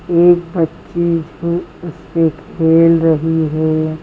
एक बच्ची जो उससे खेल रही है।